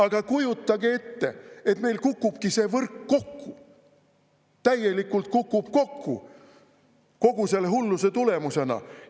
Aga kujutage ette, et meil kukubki see võrk kokku, täielikult kukub kokku kogu selle hulluse tulemusena!